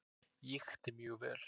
Ég ýkti mjög vel.